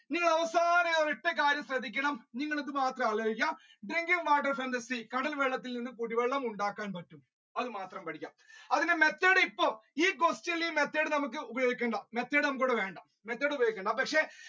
നിങ്ങളവസാനം ഒരൊറ്റ കാര്യം ശ്രദ്ദിക്കണം നിങ്ങളിതുമാത്രം ആലോയ്ക്കാ കടൽ വെള്ളത്തിൽനിന്നും കുടിവെള്ളമുണ്ടാക്കാൻ പറ്റുംഅത് മാത്രം പഠിക്കാ അതിന്റെ method ഇപ്പൊ ഈ question ൽ ഈ method നമുക്ക് ഉപയോഗിക്കണ്ട method നമുക്കിവിടെ വേണ്ട method ഉപയോഗിക്കണ്ട പക്ഷേ